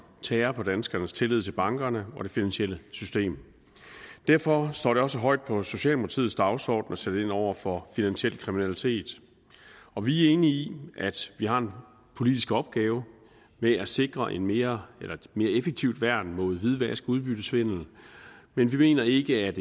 tærer på danskernes tillid til bankerne og det finansielle system derfor står det også højt på socialdemokratiets dagsorden at sætte ind over for finansiel kriminalitet og vi er enige i at vi har en politisk opgave med at sikre et mere effektivt værn mod hvidvask og udbyttesvindel men vi mener ikke at